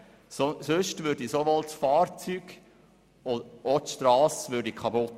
Auf einer Strasse eingesetzt, würde sowohl das Fahrzeug wie auch die Strasse Schaden nehmen.